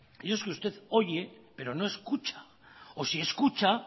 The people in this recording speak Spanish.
y es que usted oye pero no escucha y si escucha